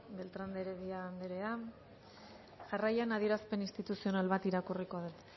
beltrán de heredia anderea jarraian adierazpen instituzional bat irakurriko dut